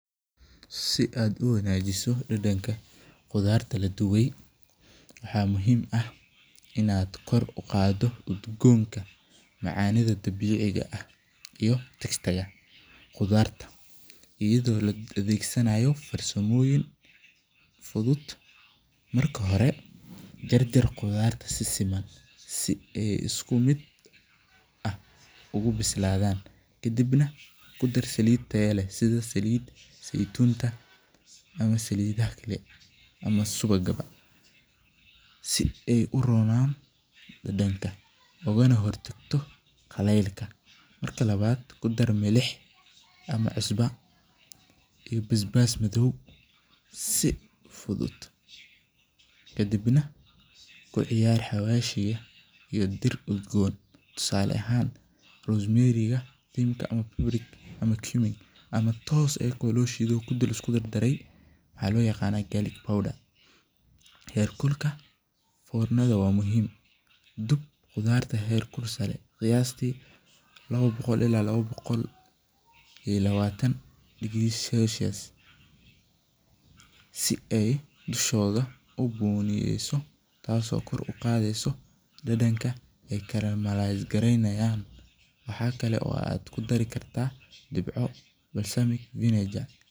Si aad u wanajiso qudhaarta laduwe waxaa muhiim ah in aad kor u qado udgonka macanida dabiciga ah qudhaarta ido la adhegsanayo farsamoyin fuduud marka hore jar jar qidhaarta si siman si ee isku miid u bisladhan kadiib nah kudar saliid sitha saliid seytunta ama salidhaha kale ama suwaga si ee dadanka ogana hortagto qalelka, marki lawaad kudar milix ama cusba iyo bas bas madow, kabiib nah kuciyari xawashiga iyo diir udgon tusale ahan ama iyaga oo tos lo shiid waxaa qiyasti lawa boqol ila lawa boqol iyo lawatan, tas oo kor u aqadheyso waxaa kalo kudari kartaa disco basal ah.